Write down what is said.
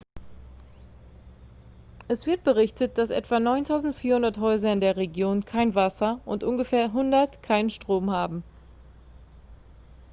es wird berichtet dass etwa 9.400 häuser in der region kein wasser und ungefähr 100 keinen strom haben